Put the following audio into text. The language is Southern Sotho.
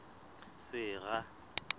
sera